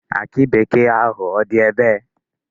Akị bekee ahụ, ọ dị ebee?